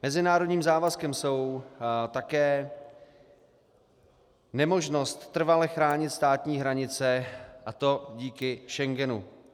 Mezinárodním závazkem je také nemožnost trvale chránit státní hranice, a to díky Schengenu.